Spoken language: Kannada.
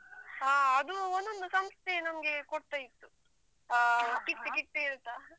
ಹ ಅದು ಒಂದೊಂದು ಸಂಸ್ಥೆ ನಮಗೆ ಕೊಡ್ತಾ ಇತ್ತು ಅಹ್ kit kit ಹೇಳ್ತಾ